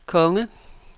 konge